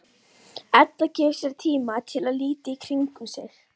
Edda gefur sér tíma til að líta í kringum sig.